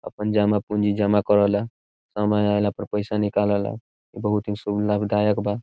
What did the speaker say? अपन जमा पूंजी जमा करला समय अएला पर पइसा निकालेला बहुत ही शुभ लाभदायक बा।